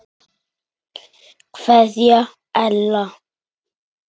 Kveðja Ella.